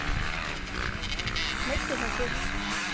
Meiddi það sig?